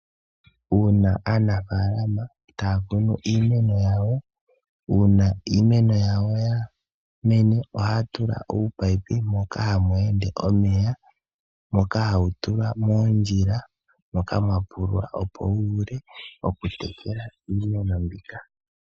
Uuna aanafaalama taa kunu iimeno yawo, uuna iimeno yawo ya mene ohaa tula uupaipi moka hamwee nde omeya moka hawu tulwa moondjila moka mwa kunwa opo wu vule oku tekela iimeno mbika.